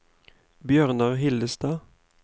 Bjørnar Hillestad